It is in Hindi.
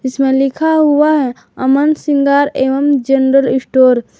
इसमें लिखा हुआ है अमन सिंगार एवं जनरल स्टोर ।